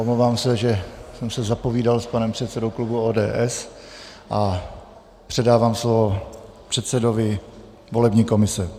Omlouvám se, že jsem se zapovídal s panem předsedou klubu ODS, a předávám slovo předsedovi volební komise.